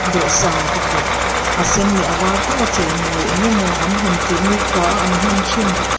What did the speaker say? dawhsan pakhat a sen leh a var tho a chei mawi eng emaw an han tih nikhua a an hman thin--